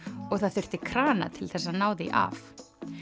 og það þurfti krana til þess að ná því af